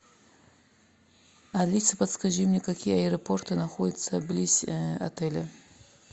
алиса подскажи мне какие аэропорты находятся близ отеля